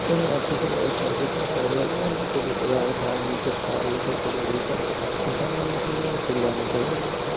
তবে একটা ছেলে বসে আছে পাহাড় রোডে ওদিকে পাহাড় নিচে পাহাড় ওই সাইটে পাহাড় এই সাইট পাহাড় মেয়েটা মোজা পরে আছে লেংটো হয়ে আছে ।